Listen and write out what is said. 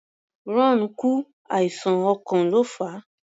Ron kú, àìsàn ọkàn ló fà á.